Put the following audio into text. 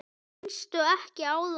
Minnstu ekki á það.